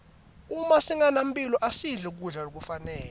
uma singenamphilo asidli kudla lokufanele